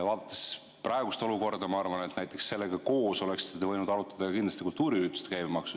Vaadates praegust olukorda, ma arvan, et sellega koos oleksite te kindlasti võinud arutada ka kultuuriürituste käibemaksu.